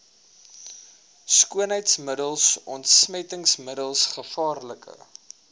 skoonheidsmiddels ontsmettingsmiddels gevaarlike